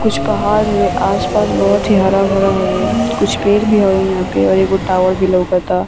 कुछ पहाड़ हवे | आस पास बहुत ही हरा भरा हवे | कुछ पेड़ भी हवे यहाँ पे और एगो टावर भी लउकता |